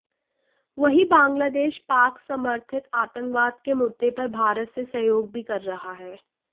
वहीं बांगलादेश पाक समर्थित आतंकवाद के मुद्दे पर भारत से सहयोग भी कर रहा है